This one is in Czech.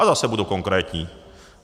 A zase budu konkrétní.